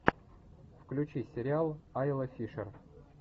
включи сериал айла фишер